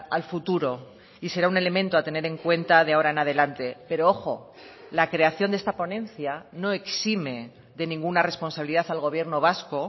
al futuro y será un elemento a tener en cuenta de ahora en adelante pero ojo la creación de esta ponencia no exime de ninguna responsabilidad al gobierno vasco